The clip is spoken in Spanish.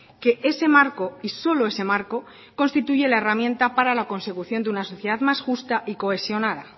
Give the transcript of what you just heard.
que ese marco y solo ese marco constituye la herramienta para la consecución de una sociedad más justa y cohesionada